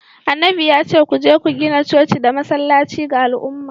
annabin ya ce ku je ku gina coci da masallaci ga al’umma.